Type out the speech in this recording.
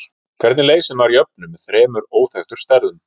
Hvernig leysir maður jöfnu með þremur óþekktum stærðum?